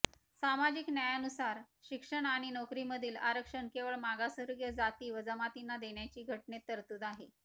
सामाजिक न्यायानुसार शिक्षण आणि नोकरीमधील आरक्षण केवळ मागासवर्गीय जाती व जमातींना देण्याची घटनेत तरतूद आहे